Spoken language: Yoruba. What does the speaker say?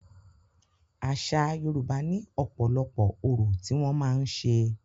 Àṣa Yorùbá ní ọ̀pọ̀lọpọ̀ orò tí wọ́n màá ń ṣe.